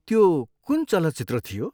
त्यो कुन चलचित्र थियो?